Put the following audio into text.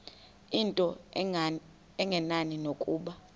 into engenani nokuba